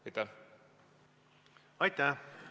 Aitäh!